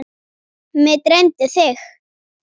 Mig dreymdi þig.